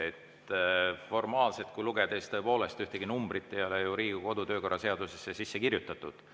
Kui lugeda seadust formaalselt, siis tõepoolest, saab öelda, et ühtegi numbrit ei ole ju Riigikogu kodu‑ ja töökorra seadusesse sisse kirjutatud.